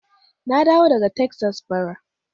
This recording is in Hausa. Na dawo daga Texas bara.